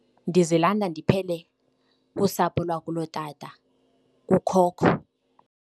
Ndizilanda ndiphele kusapho lwakulotata, kukhokho.